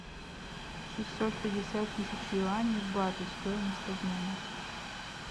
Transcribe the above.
шестьсот пятьдесят тысяч юаней в баты стоимость обмена